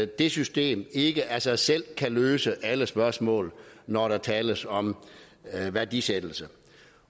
det system ikke af sig selv kan løse alle spørgsmål når der tales om værdisættelse